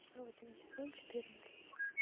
родина сезон четырнадцать